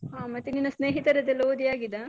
ಹ ಮತ್ತೆ ನಿನ್ನ ಸ್ನೇಹಿತರದೆಲ್ಲ ಓದಿ ಆಗಿದಾ?